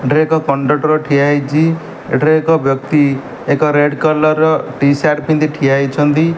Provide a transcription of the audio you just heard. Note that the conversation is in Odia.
ଏଠାରେ ଏକ କଣ୍ଡକ୍ଟର ଠିଆ ହେଇଛି। ଏଠାରେ ବ୍ୟକ୍ତି ଏକ ରେଡ୍ କଲର୍ ର ଟି-ସାର୍ଟ ପିନ୍ଧି ଠିଆ ହୋଇଛନ୍ତି।